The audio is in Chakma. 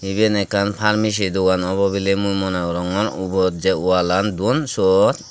iben ekkan parmesi dogan obo bile mui mone gorongor ubot je walan don sot.